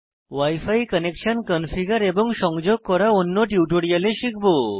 wi fi connection configure এবং সংযোগ করা অন্য টিউটোরিয়ালে শিখব